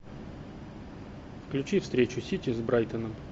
включи встречу сити с брайтоном